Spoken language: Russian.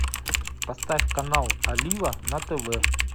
поставь канал олива на тв